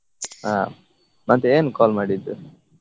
ಹಾ ಮತ್ತೆ ಏನ್ call ಮಾಡಿದ್ದು?